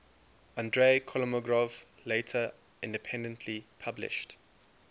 andrey kolmogorov later independently published